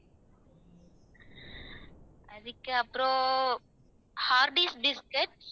அதுக்கப்புறம் hardees biscuit